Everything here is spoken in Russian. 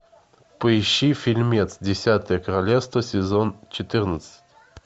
поищи фильмец десятое королевство сезон четырнадцать